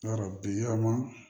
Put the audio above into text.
Yarɔ bi yaman